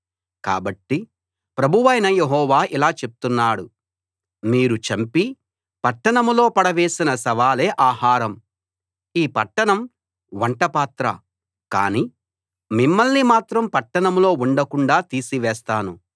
కాబట్టి ప్రభువైన యెహోవా ఇలా చెప్తున్నాడు మీరు చంపి పట్టణంలో పడవేసిన శవాలే ఆహారం ఈ పట్టణం వంట పాత్ర కానీ మిమ్మల్ని మాత్రం పట్టణంలో ఉండకుండాా తీసివేస్తాను